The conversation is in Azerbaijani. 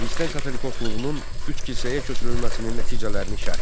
Xristian katolikosluğunun üç kilsəyə köçürülməsinin nəticələrini şərh et.